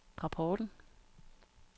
rapporten